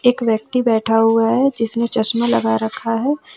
एक व्यक्ति बैठा हुआ है जिसमें चश्मा लगा रखा है।